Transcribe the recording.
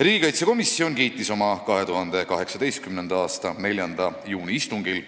Riigikaitsekomisjon kiitis oma 2018. aasta 4. juuni istungil